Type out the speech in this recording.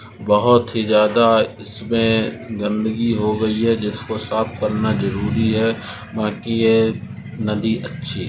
बहुत ही ज्यादा इसमें गंदगी हो गई है जिसको साफ करना जरूरी है बाकी ये नदी अच्छी है।